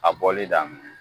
A bɔli diaminɛ